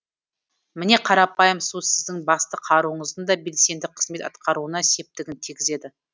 міне қарапайым су сіздің басты қаруыңыздың да белсенді қызмет атқаруына септігін тигізеді